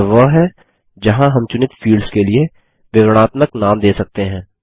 यह वह है जहाँ हम चुनित फील्ड्स के लिए विवरणात्मक नाम दे सकते हैं